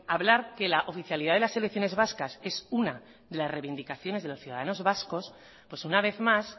hablar que la oficialidad de las selecciones vascas es una de las reivindicaciones de los ciudadanos vascos pues una vez más